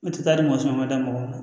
U tɛ taa ni mɔgɔ sɔrɔ ma da mɔgɔ la